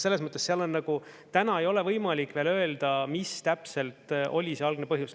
Selles mõttes täna ei ole võimalik veel öelda, mis täpselt oli see algne põhjus.